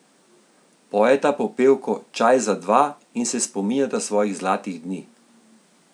Pojeta popevko Čaj za dva in se spominjata svojih zlatih dni.